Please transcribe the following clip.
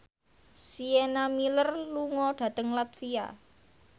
Sienna Miller lunga dhateng latvia